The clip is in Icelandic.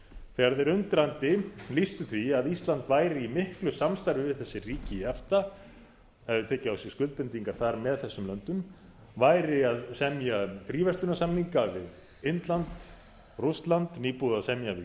þegar þeir undrandi lýstu því að ísland væri í miklu samstarfi við þessi ríki efta hefði tekið á sig skuldbindingar þar með þessum löndum væri að semja um fríverslunarsamninga við indland rússland nýbúið að semja við